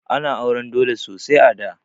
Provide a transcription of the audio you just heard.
Ana auran dole sosai a da.